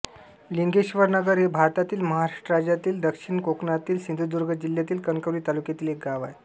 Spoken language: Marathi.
लिंगेश्वर नगर हे भारतातील महाराष्ट्र राज्यातील दक्षिण कोकणातील सिंधुदुर्ग जिल्ह्यातील कणकवली तालुक्यातील एक गाव आहे